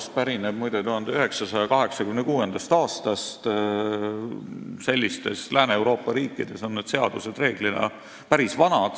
See pärineb, muide, 1986. aastast – sellistes Lääne-Euroopa riikides on seadused enamasti päris vanad.